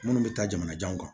Minnu bɛ taa jamanajanw kan